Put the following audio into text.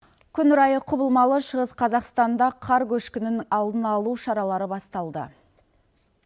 күн райы құбылмалы шығыс қазақстанда қар көшкінің алдын алу шаралары басталды